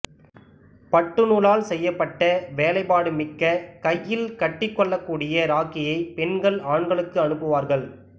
பட்டு நூலால் செய்யப்பட்ட வேலைப்பாடு மிக்க கையில் கட்டிக்கொள்ளக்கூடிய ராக்கியை பெண்கள் ஆண்களுக்கு அனுப்புவார்கள்